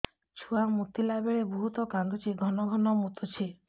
ଛୁଆ ମୁତିଲା ବେଳେ ବହୁତ କାନ୍ଦୁଛି ଘନ ଘନ ମୁତୁଛି